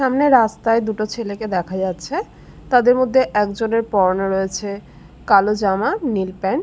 সামনের রাস্তায় দুটি ছেলেকে দেখা যাচ্ছে তাদের মধ্যে একজনের পরণে রয়েছে কালো জামা নীল প্যান্ট ।